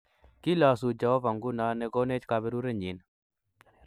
Kilosu Jehovah nguno ne konech kaberurenyin